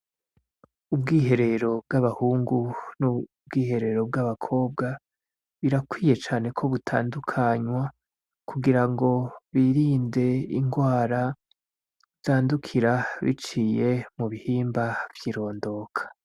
Ubwiherero bw'abahungu n'ubwiherero bw'abakobwa birakwiye cane ko butandukanywa kugirango birinde indwara zandukira biciye mubihimba vy'irondoka.